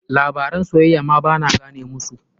Labaran soyayya ma ba na gane musu.